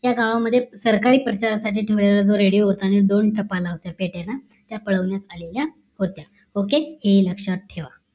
या गावामध्ये सरकारी प्रचारासाठी ठेवलेला जो रेडियो होता आणि दोन टपाल होत त्या पेट्याला आणि त्या पळवण्यात आलेल्या होत्या OKay हे लक्ष्यात ठेवा